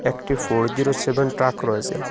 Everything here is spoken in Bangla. একটি ফোর জিরো সেভেন ট্রাক রয়েসে ।